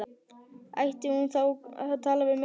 Ætti hún þá að tala við ömmu?